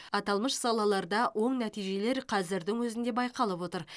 аталмыш салаларда оң нәтижелер қазірдің өзінде байқалып отыр